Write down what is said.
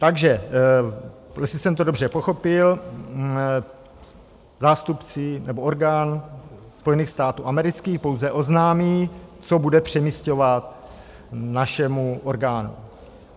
Takže jestli jsem to dobře pochopil, zástupci nebo orgán Spojených států amerických pouze oznámí, co bude přemisťovat, našemu orgánu.